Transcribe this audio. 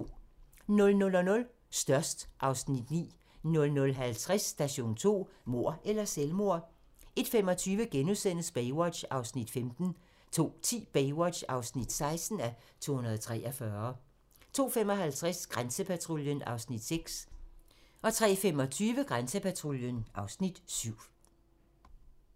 00:00: Størst (Afs. 9) 00:50: Station 2: Mord eller selvmord? 01:25: Baywatch (15:243)* 02:10: Baywatch (16:243) 02:55: Grænsepatruljen (Afs. 6) 03:25: Grænsepatruljen (Afs. 7)